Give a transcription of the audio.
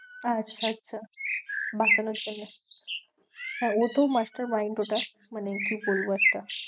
আচ্ছা আচ্ছা বাঁচানোর জন্যে হ্যাঁ, ও তো master mind ওটা মানে কি বলবো একটা